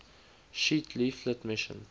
sheet leaflet mission